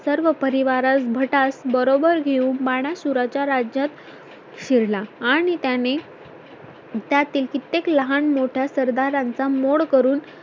सर्व परिवारास भटास बरोबर घेऊन बाणासुराच्या राज्यात शिरला आणि त्यांने त्यातील कित्येक लहान मोठ्या सरदारांचा मोड करून